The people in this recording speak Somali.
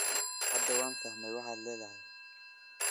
Hadda waan fahmay waxaad leedahay